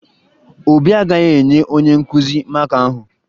Obi agaghị enye onye nkụzi maka ahụ